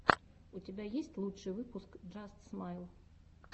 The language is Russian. у тебя есть лучший выпуск джаст смайл